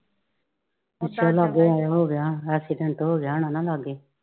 ਪੁਛਣ ਲਗੇ ਆਏ ਹੋ ਗਿਆ ਹੋਣਾ accident ਹੋ ਗਿਆ ਹੋਣਾ ਨਾ ਲਾਗੇ।